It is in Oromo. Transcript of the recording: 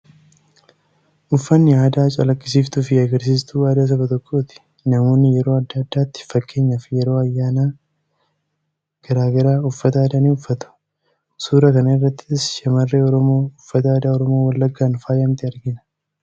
Uffanni aadaa calaqqisiiftuu fi agarsiistuu aadaa saba tokkooti. Namoonni yeroo adda addaatti; fakkeenyaaf yeroo ayyaana gara garaa uffata aadaa ni uffatu. Suuraa kana irrattis shamarree Oromoo uffata aadaa Oromoo Wallaggaan faayamtee argina.